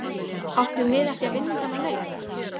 Áttum við ekki að vinna þennan leik?